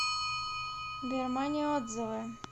бирмания отзывы